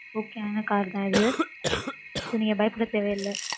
okay ஆனா cars தான் இது. so நீங்க பயப்பட தேவை இல்ல.